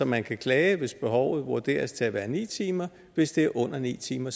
man kan klage hvis behovet vurderes til at være ni timer og hvis det er under ni timer